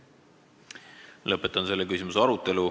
Lõpetan selle küsimuse arutelu.